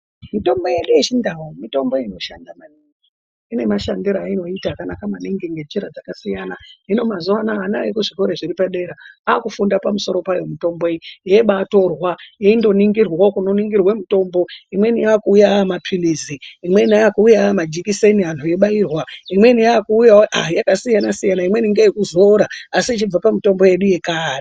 Mitombo yedu yechi ndau mitombo inoshanda maningi ine mashandiro ayino ita akanaka maningi nge njira dzaka siyana hino mazuva anaya ana ekuzvikoro zviri pa dera akufunda pamusoro payo mutombo iyi yai bai torwa yaindo ningirwawo kuno ningirirwe mutombo imweni yakuuya ama pilizi imweni aku uya ama jekiseni anhu eyi bairwa imweni yaku uyawo yaka siyana siyana imweni ngeye kuzora asi ichibva pa mutombo yedu yechikare.